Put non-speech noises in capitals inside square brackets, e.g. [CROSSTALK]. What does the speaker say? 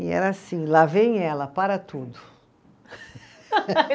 E era assim, lá vem ela, para tudo. [LAUGHS]